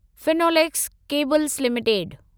Finolex cables limited